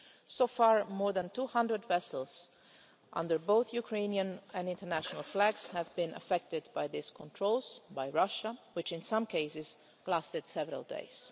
So far, more than 200 vessels, under both Ukrainian and international flags, have been affected by these controls by Russia, which in some cases lasted several days.